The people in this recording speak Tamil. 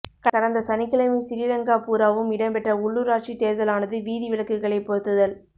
கடந்த சனிக்கிழமை சிறிலங்கா பூராவும் இடம்பெற்ற உள்ளூராட்சித் தேர்தலானது வீதி விளக்குகளைப் பொருத்துதல்